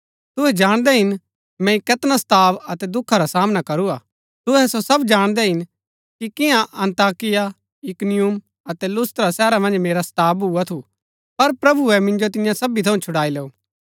तुहै जाणदै हिन मैंई कैतना सताव अतै दुखा रा सामना करू हा तुहै सो सब जाणदै हिन कि किन्या अन्ताकिया इकुनियुम अतै लुस्त्रा शहरा मन्ज मेरा सताव भूआ थू पर प्रभुऐ मिन्जो तिन्या सबी थऊँ छुड़ाई लैऊ